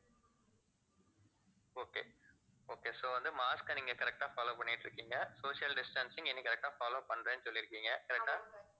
okay okay so வந்து mask அ நீங்க correct ஆ follow பண்ணிட்டிருக்கீங்க social distancing இனி correct ஆ follow பண்றேன்னு சொல்லிருக்கீங்க correct ஆ